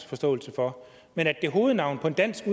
forståelse for men at navnet på en dansk